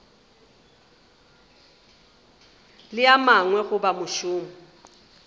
le a mangwe goba mošomo